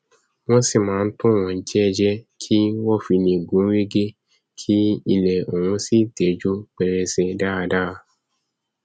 wọn sì máa ntò wọn jẹẹjẹ kí wọn fi gún régé ki ilẹ ọhún sì tẹjú pẹrẹsẹ dáradára